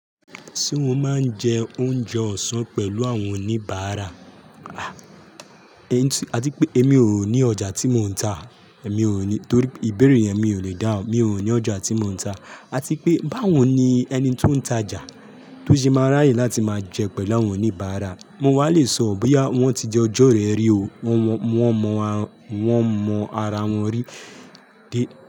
Ṣé wọ́n máa ń jẹ oúnjẹ ọ̀sán pẹ̀lú àwọn oníbàárà? Ati pé èmi ò ní ọjà tí mò ń ta, èmi ò ní, torí ìbéèrè yẹn mi ò lè dá, mi ò ní ọjà tí mò ń ta. Ati pé bá wọ́n ní ẹni tó ń tajà, tó ṣe máa ráyè láti máa jẹun pẹ̀lú àwọn oníbàárà. Mi o wá lè sọ bóyá wọ́n ti jọ jọ́ rẹ rí o, wọ́n mọ ara wọn rí.